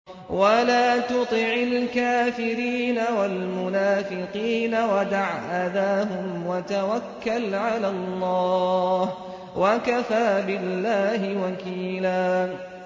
وَلَا تُطِعِ الْكَافِرِينَ وَالْمُنَافِقِينَ وَدَعْ أَذَاهُمْ وَتَوَكَّلْ عَلَى اللَّهِ ۚ وَكَفَىٰ بِاللَّهِ وَكِيلًا